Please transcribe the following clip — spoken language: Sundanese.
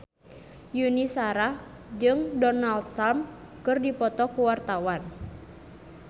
Yuni Shara jeung Donald Trump keur dipoto ku wartawan